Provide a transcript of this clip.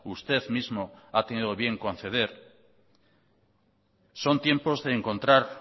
usted mismo ha tenido bien conceder son tiempos de encontrar